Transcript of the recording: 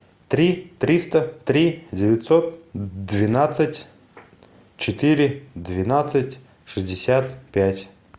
три триста три девятьсот двенадцать четыре двенадцать шестьдесят пять